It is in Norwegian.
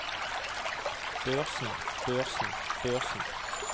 børsen børsen børsen